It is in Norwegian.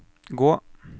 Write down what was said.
gå